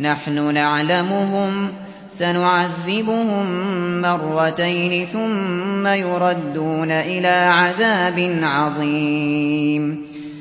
نَحْنُ نَعْلَمُهُمْ ۚ سَنُعَذِّبُهُم مَّرَّتَيْنِ ثُمَّ يُرَدُّونَ إِلَىٰ عَذَابٍ عَظِيمٍ